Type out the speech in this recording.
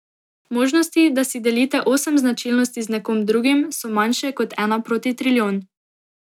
Možnosti, da si delite osem značilnosti z nekom drugim, so manjše kot ena proti trilijon.